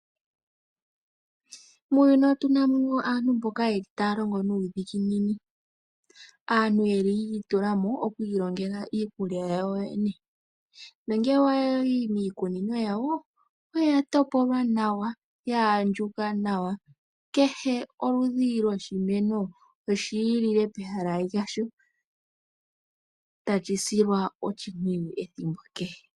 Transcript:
Muuyuni otuna mo aantu mboka taya longo nuudhiginini aantu yeli yi itula mo oku ilongela iikulya yawo nongele owayi miikunino yawo oya topolwa nawa ya andjuka nawa kehe oludhi lwoshimeno olwi ilile pehala lyasho tashi silwa oshipwiyu ethimbo kehe.